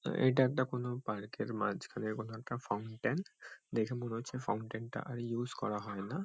এটা একটা কোনো পার্ক এর মাঝখানে কোন একটা ফাউন্টেন দেখে মনে হচ্ছে ফাউন্টেন টা ইউজ করা হয়না।